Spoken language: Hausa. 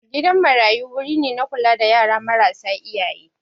Gidan marayu wuri ne na kula da yara marasa iyaye